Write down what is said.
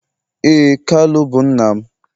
ee, kalu bu nna m.